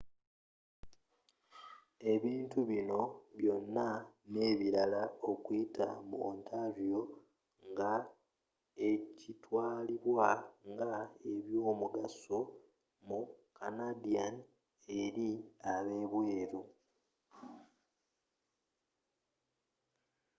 ebintu binno byona n'ebirala okuyita mu ontario nga ekitwalibwa nga ebyomugaso mu canadian eri ab'ebweru